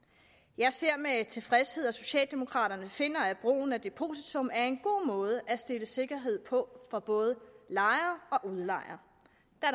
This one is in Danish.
jeg ser med tilfredshed at socialdemokraterne finder at brugen af depositum er en god måde at stille sikkerhed på for både lejer